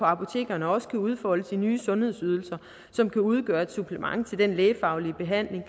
apotekerne også kan udfoldes i nye sundhedsydelser som kan udgøre et supplement til den lægefaglige behandling